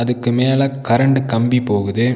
இதுக்கு மேல கரண்ட் கம்பி போகுது.